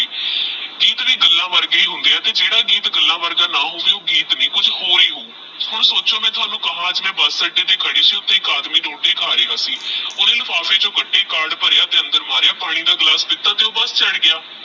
ਗੱਲਾਂ ਵਰਗੇ ਹੋਂਦੇ ਆਹ ਤੇਹ ਜੇਦਾ ਗੀਤ ਗੱਲਾਂ ਵਰਗਾ ਨਾਮ ਹੋਗੇ ਤਹ ਓਹ ਗੀਤ ਨੀ ਕੁਛ ਹੋਰ ਹੀ ਹੋਊ ਹੁਣ ਸੋਚੋ ਮੈ ਤਾਹੁਨੁ ਕਵਾ ਅਜ ਮੈ ਬੁਸ ਅੱਡੇ ਤੇਹ ਕਾਹਦੀ ਸੀ ਤੇਹ ਏਕ ਆਦਮੀ ਰੋਟੀ ਕਹਾ ਰੇਯਾ ਸੀ ਤੇਹ ਓਹਨੇ ਲਿਫਾਫੇ ਚੋ ਕਦੇ ਕਾਰਡ ਭਾਰਯਾ ਤੇਹ ਪਾਣੀ ਦਾ ਗਿਲਾਸ ਪਿਤਾ ਤੇਹ ਬੁਸ ਚੜ ਗਯਾ